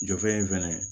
Jɔfɛ in fɛnɛ